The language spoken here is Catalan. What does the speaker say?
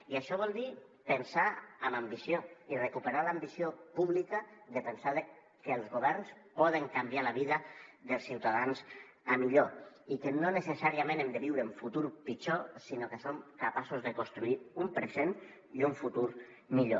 i això vol dir pensar amb ambició i recuperar l’ambició pública de pensar que els governs poden canviar la vida dels ciutadans a millor i que no necessàriament hem de viure un futur pitjor sinó que som capaços de construir un present i un futur millor